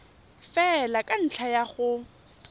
fela ka ntlha ya go